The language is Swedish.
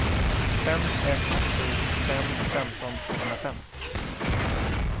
fem ett sju fem femton tvåhundrafem